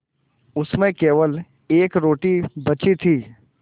उसमें केवल एक रोटी बची थी